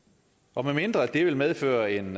og medmindre det vil medføre en